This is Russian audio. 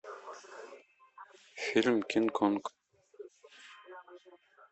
фильм кинг конг